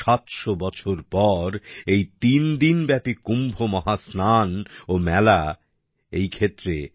সাতশো বছর পর এই তিন দিন ব্যাপী কুম্ভ মহাস্নান ও মেলা এই ক্ষেত্রে